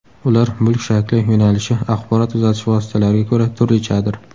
Ular mulk shakli, yo‘nalishi, axborot uzatish vositalariga ko‘ra turlichadir.